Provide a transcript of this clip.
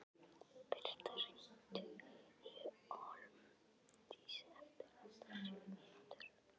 Birta, hringdu í Hólmdísi eftir áttatíu mínútur.